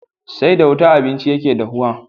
Sai da wuta abinci yake dahuwa